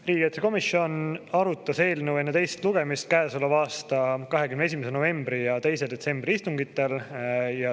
Riigikaitsekomisjon arutas eelnõu enne teist lugemist käesoleva aasta 21. novembri ja 2. detsembri istungil.